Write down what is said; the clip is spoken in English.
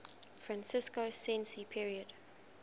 franco sensi's period